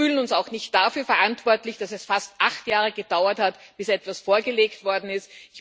Wir fühlen uns auch nicht dafür verantwortlich, dass es fast acht Jahre gedauert hat, bis etwas vorgelegt worden ist.